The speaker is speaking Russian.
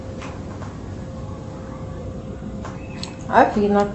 афина